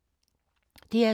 DR2